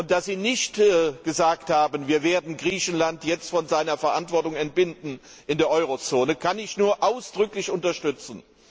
Dass Sie nicht gesagt haben Wir werden Griechenland jetzt von seiner Verantwortung in der Euro Zone entbinden, kann ich nur ausdrücklich unterstützen.